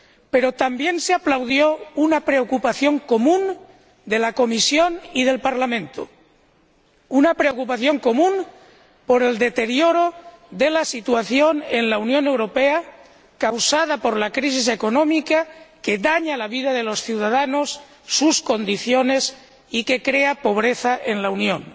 pero también se aplaudió una preocupación común de la Comisión y del Parlamento, una preocupación común por el deterioro de la situación en la Unión Europea, causada por la crisis económica, que daña la vida de los ciudadanos, sus condiciones y que crea pobreza en la Unión,